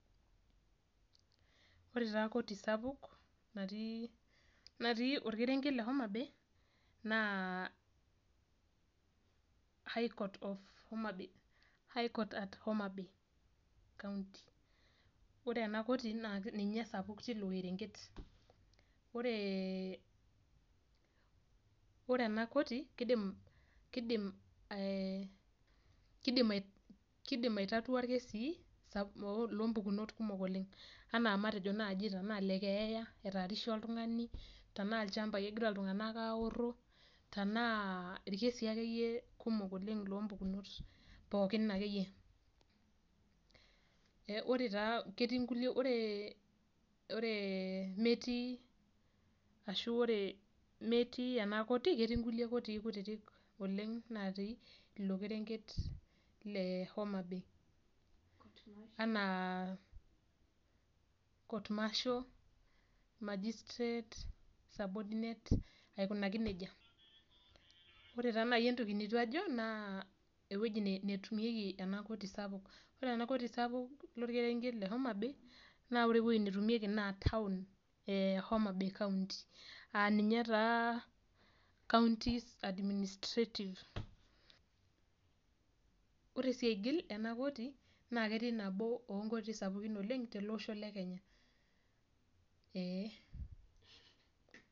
Ore taa koti sapuk, natii orkerenket le Homabay, naa High court of Homabay, High court at Homabay County. Ore ena koti naa ninye esapuk tilo kerenket. Ore ena koti, kidim ai tatua irkesii lompukunot kumok oleng. Anaa matejo naji anaa le keeya, etaarishe oltung'ani, tenaa ilchambai egira iltung'anak aorro, tanaa irkesii akeyie kumok oleng lompukunot pookin akeyie. Ore taa ketii inkulie ore metii ashu ore metii ena koti, ketii nkulie kotii kutitik oleng natii ilo kerenket le Homabay. Anaa court marshal, magistrate, subordinate, aikunaki nejia. Ore taa nai entoki neitu ajo, naa ewueji netumieki ena koti sapuk. Ore ena koti sapuk lorkerenket le Homabay, naa ore ewoi netumieki naa town e Homabay county. Aninye taa county administrative. Ore si aigil ena koti, na ketii nabo onkotii sapukin oleng te olosho le Kenya. Ee.